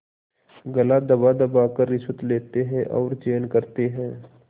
गला दबादबा कर रिश्वतें लेते हैं और चैन करते हैं